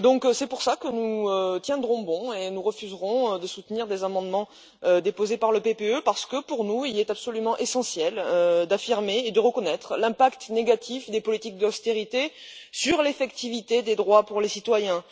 C'est pour cela que nous tiendrons bon et refuserons de soutenir des amendements déposés par le PPE, parce que, pour nous, il est absolument essentiel d'affirmer et de reconnaître l'impact négatif des politiques d'austérité sur l'effectivité des droits pour les citoyens.